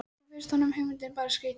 Nú finnst honum hugmyndin bara skrýtin.